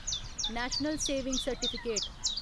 national saving certificate